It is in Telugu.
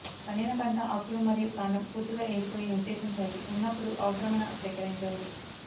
పండిన పంట ఆకులు మరియు కాండం పూర్తిగా ఎండిపోయి నిర్దేశించాయి ఉన్నప్పుడు అవసరమైన సేకరించండి